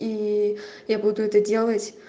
и я буду это делать